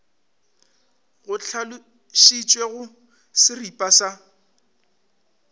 go hlalošitšwe go seripa sa